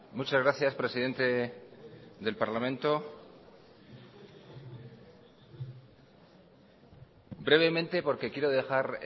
muchas gracias presidente del parlamento brevemente porque quiero dejar